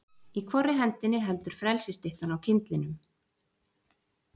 Í hvorri hendinni heldur frelsisstyttan á kyndlinum?